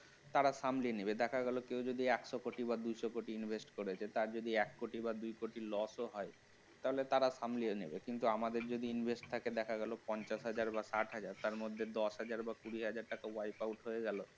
তারা সামনে নেবে দেখা গেল কেউ যদি একশ কোটি বা দুইশ কোটি invest করে যে তার যদি এক কোটি বা দু কোটি loss ও হয় তাহলে তারা সামলিয়ে নেবে কিন্তু আমাদের যদি Invest থাকে দেখা গেল পঞ্চাশ হাজার বার ষাট টাকা টাকার মধ্যে দশ হাজার কুড়ি হাজার টাকা wipe out হয়ে গেলে